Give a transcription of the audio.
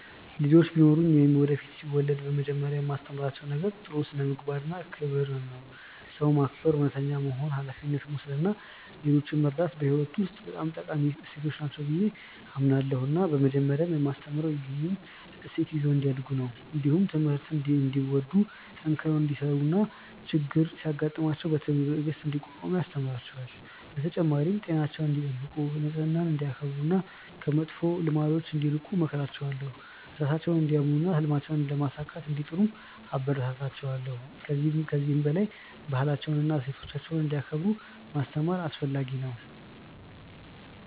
ልጆች ቢኖሩኝ ወይም ወደፊት ሲወለድ በመጀመሪያ የማስተምራቸው ነገር ጥሩ ስነ-ምግባር እና ክብርን ነው። ሰውን ማክበር፣ እውነተኛ መሆን፣ ሀላፊነት መውሰድ እና ሌሎችን መርዳት በሕይወት ውስጥ በጣም ጠቃሚ እሴቶች ናቸው ብዬ አምናለሁ እና በመጀመሪያ የማስተምረው ይህንን እሴት ይዘው እንዲያድጉ ነው። እንዲሁም ትምህርትን እንዲወዱ፣ ጠንክረው እንዲሠሩ እና ችግር ሲያጋጥማቸው በትዕግሥት እንዲቋቋሙ አስተምራቸዋለሁ። በተጨማሪም ጤናቸውን እንዲጠብቁ፣ ንጽህናን እንዲያከብሩ እና ከመጥፎ ልማዶች እንዲርቁ እመክራቸዋለሁ። ራሳቸውን እንዲያምኑ እና ህልማቸውን ለማሳካት እንዲጥሩም አበረታታቸዋለሁ። ከዚህ በላይ ባህላቸውንና እሴቶቻቸውን እንዲያከብሩ ማስተማር አስፈለጊ ነው።